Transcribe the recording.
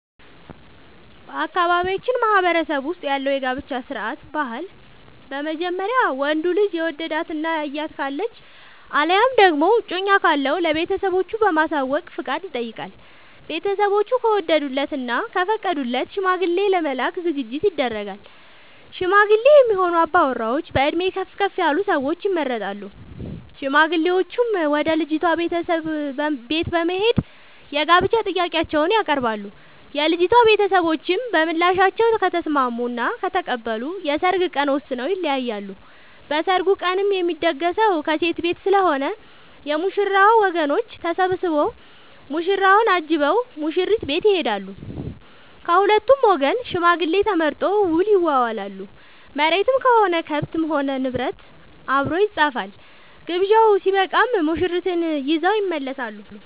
በአካባቢያችን ማህበረሰብ ውስጥ ያለው የጋብቻ ስርዓት/ ባህል በመጀመሪያ ወንዱ ልጅ የወደዳት እና ያያት ካለች አለያም ደግሞ እጮኛ ካለው ለቤተሰቦቹ በማሳወቅ ፍቃድ ይጠይቃል። ቤተስቦቹ ከወደዱለት እና ከፈቀዱለት ሽማግሌ ለመላክ ዝግጅት ይደረጋል። ሽማግሌ የሚሆኑ አባወራዎች በእድሜ ከፍ ያሉ ሰዎች ይመረጣሉ። ሽማግሌዎቹም ወደ ልጅቷ ቤተሰቦች በት በመሄድ የጋብቻ ጥያቄአቸውን ያቀርባሉ። የልጂቷ ቤተሰቦችም በምላሻቸው ከተስምስሙ እና ከተቀበሉ የሰርግ ቀን ወስነው ይለያያሉ። በሰርጉ ቀንም የሚደገሰው ከሴት ቤት ስለሆነ የ ሙሽራው ወገኖች ተሰብስቧ ሙሽራውን አጅበው ሙሽሪት ቤት ይሄዳሉ። ከሁለቱም ወገን ሽማግሌ ተመርጦ ውል ይዋዋላሉ መሬትም ሆነ ከብት እና ንብረት አብሮ ይፃፋል። ግብዣው ስበቃም ሙሽርትን ይዘው ይመለሳሉ።